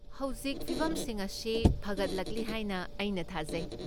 ꯍꯧꯖꯤꯛ ꯐꯤꯕꯝꯁꯤꯡ ꯑꯁꯤ ꯐꯒꯠꯂꯛꯂꯤ ꯍꯥꯏꯅ ꯑꯩꯅ ꯊꯥꯖꯩ?